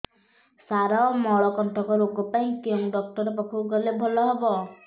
ସାର ମଳକଣ୍ଟକ ରୋଗ ପାଇଁ କେଉଁ ଡକ୍ଟର ପାଖକୁ ଗଲେ ଭଲ ହେବ